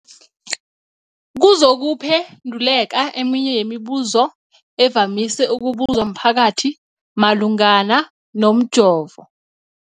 kuzokuphe nduleka eminye yemibu zo evamise ukubuzwa mphakathi malungana nomjovo.